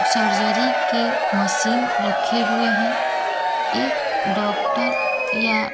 surgery की machine रखे हुए हैं एक डॉक्टर या--